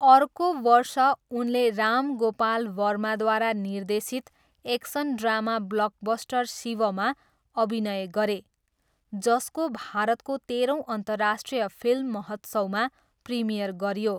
अर्को वर्ष, उनले राम गोपाल वर्माद्वारा निर्देशित एक्सन ड्रामा ब्लकबस्टर शिवमा अभिनय गरे, जसको भारतको तेह्रौँ अन्तर्राष्ट्रिय फिल्म महोत्सवमा प्रिमियर गरियो।